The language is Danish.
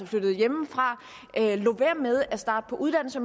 flyttet hjemmefra lod være med at starte på uddannelser